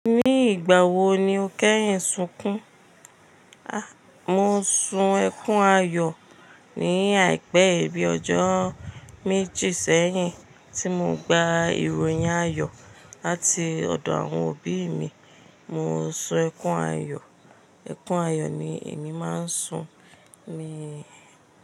Ní ìgbà wo ni o kẹ́yìn sunkún? A, mo sun ẹkún ayọ̀ ní àìpé bi ọjọ́ méjì sẹ́yìn tí mo gba ìròyìn ayọ̀ láti ọ̀dọ̀ àwọn òbí mi. Mo sun ẹkún ayọ̀, ẹkún ayọ̀ ni èmi máa ń sun ni.